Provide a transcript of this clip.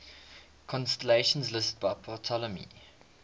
constellations listed by ptolemy